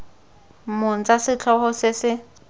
mong tsa setlhogo se se